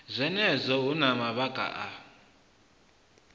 zwenezwo hu na mavhaka a